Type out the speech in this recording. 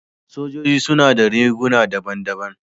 Sojoji suna da riguna daban-daban.